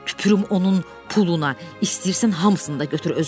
tüpürüm onun puluna, istəyirsən hamısını da götür özünə.